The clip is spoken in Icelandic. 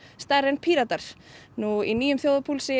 stærri en Píratar í nýjum þjóðarpúlsi